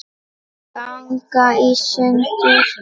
ganga í sundur